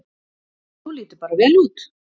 Þú lítur bara vel út!